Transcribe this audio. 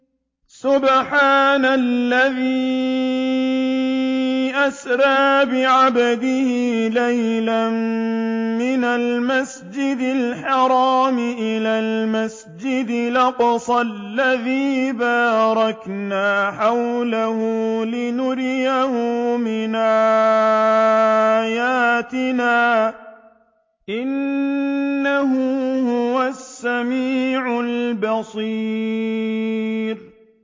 سُبْحَانَ الَّذِي أَسْرَىٰ بِعَبْدِهِ لَيْلًا مِّنَ الْمَسْجِدِ الْحَرَامِ إِلَى الْمَسْجِدِ الْأَقْصَى الَّذِي بَارَكْنَا حَوْلَهُ لِنُرِيَهُ مِنْ آيَاتِنَا ۚ إِنَّهُ هُوَ السَّمِيعُ الْبَصِيرُ